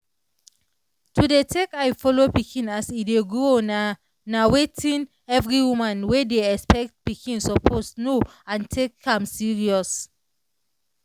to dey take eye follow pikin as e dey grow nah nah watin every woman wey dey expect pikin suppose know and take am serious.